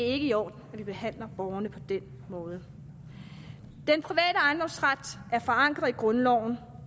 i orden at de behandler borgerne på den måde den private ejendomsret er forankret i grundloven